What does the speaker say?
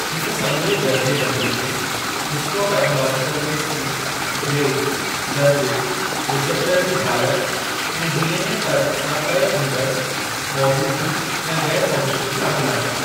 हिक समूरे दर्जेबंदीअ में हिस्टोपैथोलॉजिकल क़िस्मु, ग्रेड, दर्जे, रिसेप्टर जी हालत, ऐं डी.एन.ए. पर्ख सां तय जिनि जी मौजूदगी या ग़ैरु मौजूदगी शामिलु आहे।